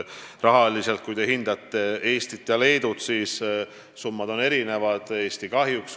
Rahaliselt, kui te hindate Eestit ja Leedut, siis summad on erinevad, Eesti kahjuks.